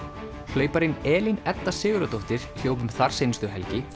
hlauparinn Elín Edda Sigurðardóttir hljóp um þarseinustu helgi